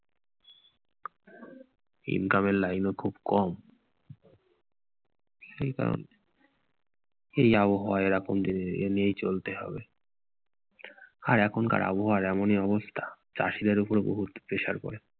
income এর line ও খুব কম। সেটা এই আবহাওয়ায় এখনতো এই নিয়েই চলতে হয়। আর এখনকার আবহাওয়ার এরকমই অবস্থা, চাষীদের ওপর বহুত pressure পরে।